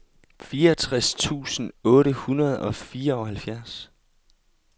fireogtres tusind otte hundrede og fireoghalvfjerds